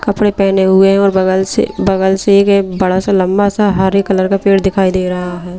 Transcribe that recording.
कपड़े पहने हुए हैं और बगल से बगल से एक बड़ा सा लंबा सा हरे कलर का पेड़ दिखाई दे रहा है।